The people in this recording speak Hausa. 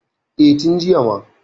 E, tin jiya ma.